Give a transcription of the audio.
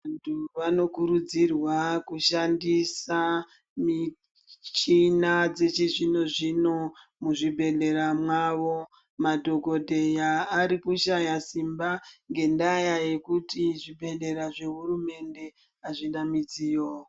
Vantu vanokurudzirwa kushandisa michina dzechizvino-zvino muzvibhedhlera mwavo. Madhokodheya ari kushaya simba ngendaa yekuti zvibhedhlera zvehurumende hazvina midziyo.